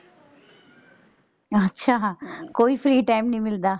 ਅੱਛਾ ਕੋਈ free time ਨਹੀਂ ਮਿਲਦਾ।